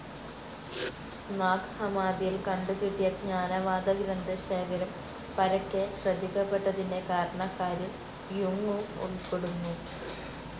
നാഗ്‌ ഹമ്മാദിയിൽ കണ്ടു കിട്ടിയ ജ്ഞാനവാദ ഗ്രന്ഥശേഖരം പരക്കെ ശ്രദ്ധിക്കപ്പെട്ടതിന്റെ കാരണക്കാരിൽ യുങ്ങും ഉൾപ്പെടുന്നു.